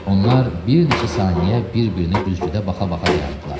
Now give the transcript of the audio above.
Onlar bir neçə saniyə bir-birinə güzgüdə baxa-baxa dayandılar.